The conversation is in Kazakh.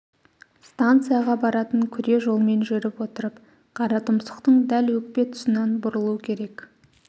станцияға баратын күре жолмен жүріп отырып қаратұмсықтың дәл өкпе тұсынан бұрылу керек